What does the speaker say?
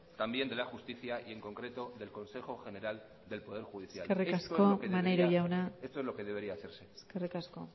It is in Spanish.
también de la justicia y en concreto del consejo general del poder judicial eskerrik asko maneiro jauna esto es lo que debería hacerse eskerrik asko